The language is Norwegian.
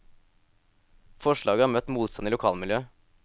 Forslaget har møtt motstand i lokalmiljøet.